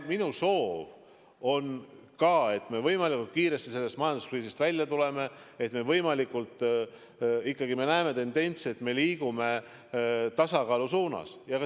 Minu soov on ka, et me võimalikult kiiresti sellest majanduskriisist välja tuleksime, et me ikkagi näeksime tendentsi, et me liigume tasakaalu suunas.